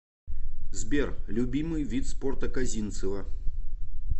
сбер любимый вид спорта козинцева